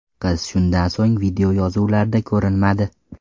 Qiz shundan so‘ng videoyozuvlarda ko‘rinmadi.